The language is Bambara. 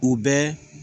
U bɛɛ